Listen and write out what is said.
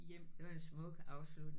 Det var en smuk afslut